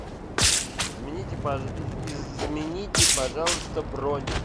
измените пожалуйста бронь